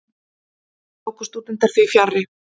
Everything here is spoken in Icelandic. Tóku stúdentar því fjarri.